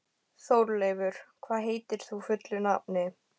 Þórleifur, hvað heitir þú fullu nafni?